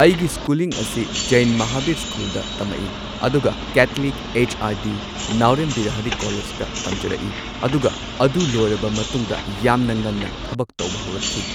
ꯑꯩꯒꯤ ꯁ꯭ꯀꯨꯂꯤꯡ ꯑꯁꯤ ꯖꯦꯟ ꯃꯍꯥꯚꯤꯔ ꯁ꯭ꯀꯨꯜꯗ ꯇꯃꯛꯏ ꯑꯗꯨꯒ Catholic H R D Naorem Birahari ꯀꯣꯂꯦꯖꯇ ꯇꯝꯖꯔꯛꯏ ꯑꯗꯨꯒ ꯑꯗꯨ ꯂꯣꯏꯔꯕ ꯃꯇꯨꯡꯗ ꯌꯥꯝꯅ ꯉꯟꯅ ꯊꯕꯛ ꯇꯧꯕ ꯍꯧꯔꯛꯈꯤ꯫